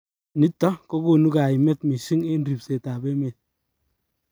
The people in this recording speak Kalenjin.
Nitok kokonu kaimet mising eng ribset ab emet.